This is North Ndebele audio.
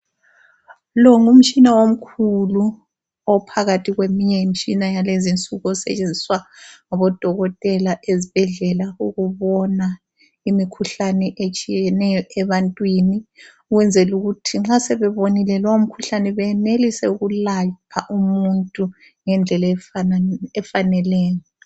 Lo ngumtshina omkhulu ophakathi kweminye imitshina yalezinsuku osetshenziswa ngabodokotela ezibhedlela ukubona imikhuhlane etshiyeneyo ebantwini, ukwenzela ukuthi nxa sebebonile lowo mkhuhlane benelise ukulapha umuntu ngendlela efaneleyo.